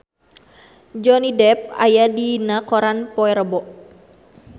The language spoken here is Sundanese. Johnny Depp aya dina koran poe Rebo